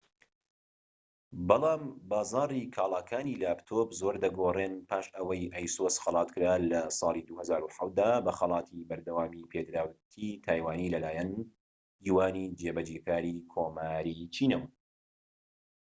بەڵام بازاڕی کاڵاکانی لاپتۆپ زۆر دەگۆڕێن پاش ئەوەی ئەیسوس خەلاتکرا لە ساڵی ٢٠٠٧ دا بە خەڵاتی بەردەوامیپێدراوێتیی تایوانی لەلایەن یوانی جێبەجێکاری کۆماری چینەوە